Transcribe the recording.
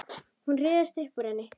Hún ryðst upp úr henni.